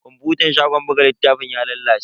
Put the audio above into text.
Kwafutan shagon buga littafin ya lalace.